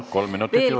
Palun!